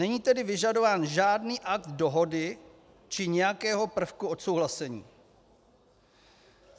Není tedy vyžadován žádný akt dohody či nějakého prvku odsouhlasení.